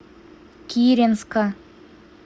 киренска